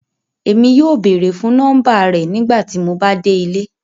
Èmi yóò bẹ̀ẹ̀rẹ̀ fun nọ́mbà rẹ̀ nígbàtí mó bá dẹ̀ ilẹ̀.